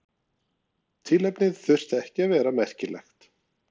Tilefnið þurfti ekki að vera merkilegt.